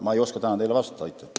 Ma ei oska teile täna vastata.